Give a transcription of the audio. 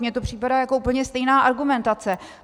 Mně to připadá jako úplně stejná argumentace.